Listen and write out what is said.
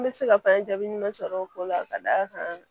N bɛ se ka fɛn jaabi ɲuman sɔrɔ o ko la ka d'a kan